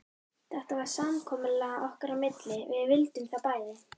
Þetta var samkomulag okkar á milli, við vildum það bæði.